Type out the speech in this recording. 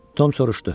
Tom soruşdu: